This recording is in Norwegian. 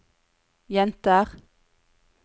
jenter